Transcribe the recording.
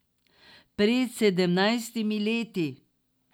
Pred sedemnajstimi leti.